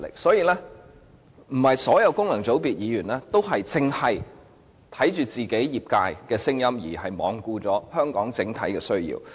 所以，並非所有功能界別議員都只聽取其業界的聲音，罔顧香港的整體需要。